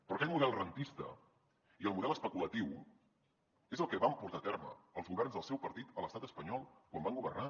però aquest model rendista i el model especulatiu és el que van portar a terme els governs del seu partit a l’estat espanyol quan van governar